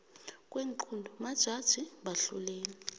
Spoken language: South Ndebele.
kweenqunto majaji bahluleli